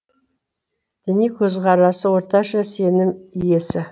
діни көзқарасы орташа сенім иесі